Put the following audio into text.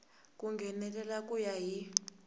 ku nghenelela ku ya hi